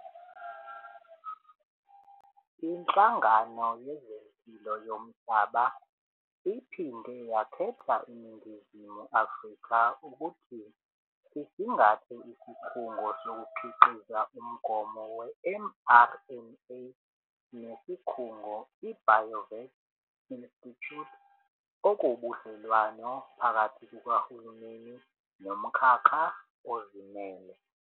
Inhlangano Yezempilo Yomhlaba iphinde yakhetha iNingizimu Afrika ukuthi isingathe isikhungo sokukhiqiza umgomo we-mRNA nesikhungo i-Biovac Institute, okuwubudlelwane phakathi kukahulumeni nomkhakha ozimele.